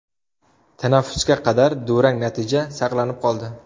Tanaffusga qadar durang natija saqlanib qoldi.